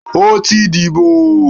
O ti dibo!